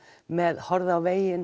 með horfðu á veginn